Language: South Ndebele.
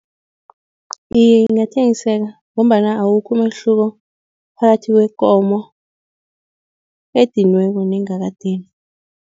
Iye, ingathengiseka ngombana awukho umehluko phakathi kwekomo ediniweko nengakadinwa.